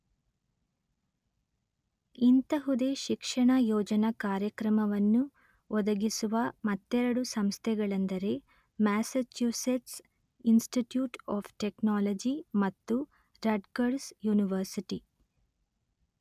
ಇಂತಹುದೇ ಶಿಕ್ಷಣ ಯೋಜನಾ ಕಾರ್ಯಕ್ರಮವನ್ನು ಒದಗಿಸುವ ಮತ್ತೆರಡು ಸಂಸ್ಥೆಗಳೆಂದರೆ ಮ್ಯಾಸ್ಸಚ್ಯುಸೆಟ್ಸ್ ಇನ್ಸ್ಟಿಟ್ಯೂಟ್ ಆಫ್ ಟೆಕ್ನಾಲಜಿ ಮತ್ತು ರಟ್ಗರ್ಸ್ ಯೂನಿವರ್ಸಿಟಿ